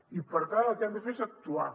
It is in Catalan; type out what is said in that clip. i per tant el que han de fer és actuar